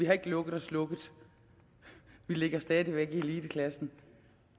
har lukket og slukket vi ligger stadig væk i eliteklassen